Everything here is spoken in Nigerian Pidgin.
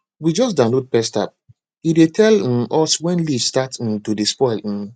we just download pest appe dey tell um us when leaves start um to dey spoil um